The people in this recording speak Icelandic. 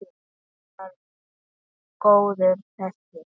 Hann var góður þessi.